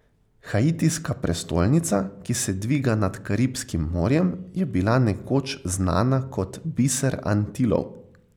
Haitijska prestolnica, ki se dviga nad Karibskim morjem, je bila nekoč znana kot Biser Antilov.